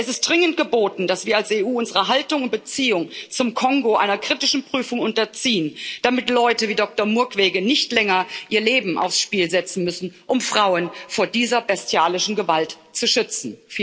Es ist dringend geboten, dass wir als EU unsere Haltung und Beziehung zum Kongo einer kritischen Prüfung unterziehen, damit Leute wie Doktor Mukwege nicht länger ihr Leben aufs Spiel setzen müssen, um Frauen vor dieser bestialischen Gewalt zu schützen.